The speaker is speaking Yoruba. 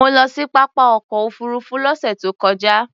Mo lọ sí pápá ọkọ̀ òfuurufú lọ́sẹ̀ tó kọjá.